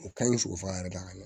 U ka ɲi sogoforo yɛrɛ da ka ɲɛ